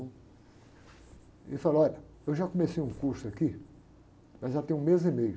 mão e falou, olha, eu já comecei um curso aqui, mas já tem um mês e meio.